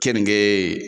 Keninge